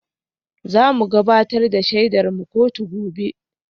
Za mu gabatar da shaidarmu kotu gobe